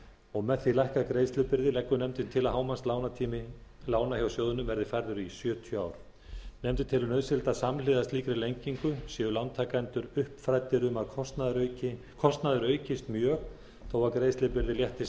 og með því lækkað greiðslubyrði leggur nefndin til að hámarkslánstími lána hjá sjóðnum verði færður í sjötíu ár nefndin telur nauðsynlegt að samhliða slíkri lengingu séu lántakendur uppfræddir um að kostnaður aukist mjög þó að greiðslubyrði léttist